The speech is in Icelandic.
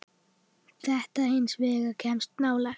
Þetta hins vegar kemst nálægt.